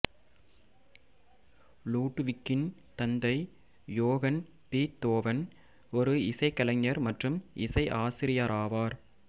லூடுவிக்கின் தந்தை Johann Beethoven ஒரு இசைகலைஞர் மற்றும் இசை ஆசிரியராவார்